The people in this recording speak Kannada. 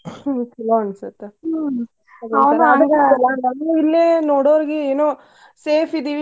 ಹ್ಮ್ ಚುಲೊ ಅನಿಸ್ತೇತಿ ಇಲ್ಲಿ ನೋಡೋರಿಗೂ ಏನೋ safe ಇದೀವಿ.